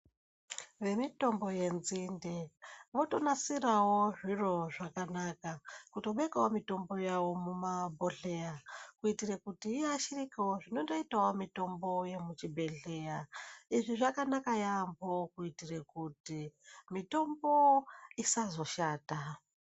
Vemitombo yenzinde votonasiravo zviro zvakanaka kutobekavo mitombo yavo mumabhodhleya. Kuitira kuti iyashirikevo zvinondotavo mitombo yechibhedhleya. Izvi zvakanaka yaamho kuitire kuti mitombo isazoshata.